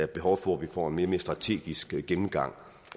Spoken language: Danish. behov for at vi får en mere strategisk gennemgang